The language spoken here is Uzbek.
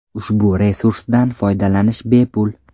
Ushbu resursdan foydalanish bepul.